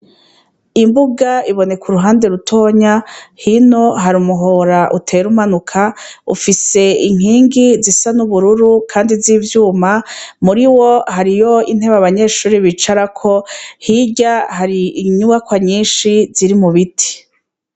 Imbuga iboneka uruhande rutoya hino hari umuhora utera umanuka ufise inkingi zisa n'ubururu kandi z'ivyuma muriwo hariho intebe abanyeshuri bicarako hirya hari inyubakwa nyishi ziri mu biti.